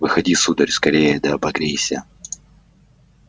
выходи сударь скорее да обогрейся